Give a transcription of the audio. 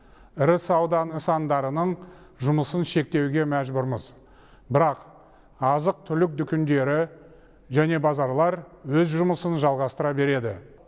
ірі сауда нысандарының жұмысын шектеуге мәжбүрміз бірақ азық түлік дүкендері және базарлар өз жұмысын жалғастыра береді